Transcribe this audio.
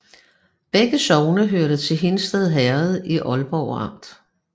Begge sogne hørte til Hindsted Herred i Ålborg Amt